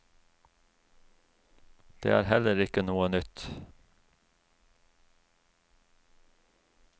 Det er heller ikke noe nytt.